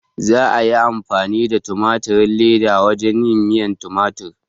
Za a iya amfani da tumatirin leda wajen yin miyan tumatir